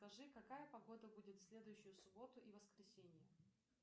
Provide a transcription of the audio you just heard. скажи какая погода будет в следующую субботу и воскресенье